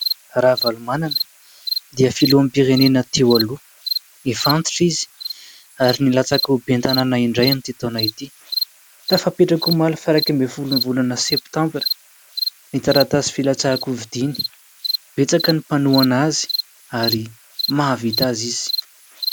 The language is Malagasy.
Ravalomanana dia filoham-pirenena teo aloha. Efa antitra izy ary nilatsaka ho ben'ny tanàna indray amin'ity taona ity; tafapetraka omaly faha iraika ambiny folo ny volana septambra ny taratasy filatsahan-kofidiana, betsaka ny mpanohana azy ary mahavita azy izy.